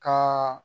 Ka